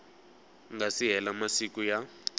nga si hela masiku ya